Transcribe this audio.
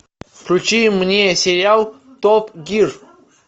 включи мне сериал топ гир